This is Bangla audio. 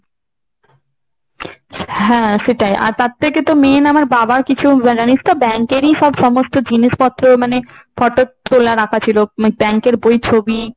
হ্যাঁ সেটাই। আর তার থেকে তো main আমার বাবা কিছু জানিস তো bank এর ই কি সব সমস্ত জিনিসপত্র মানে photo তোলা রাখা ছিল। bank এর বই ছবি